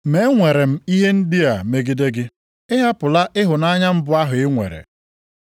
Ma enwere m ihe ndị a megide gị. Ị hapụla ịhụnanya mbụ ahụ i nwere.